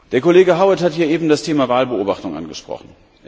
Der Kollege Howitt hat hier eben das Thema Wahlbeobachtung angesprochen.